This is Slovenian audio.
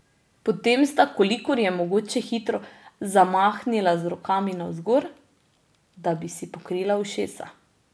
Potem sta, kolikor je mogoče hitro, zamahnila z rokami navzgor, da bi si pokrila ušesa.